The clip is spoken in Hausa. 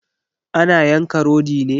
Ana yanka rodi ne?